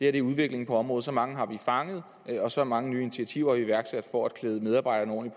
er udviklingen på området så mange har vi fanget og så mange nye initiativer er iværksat for at klæde medarbejderne